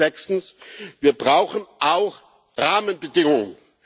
Und sechstens Wir brauchen auch Rahmenbedingungen.